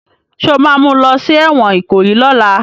Ṣé o ma mú lọ sí ẹ̀wọ̀n Ìkòyí lọ́la?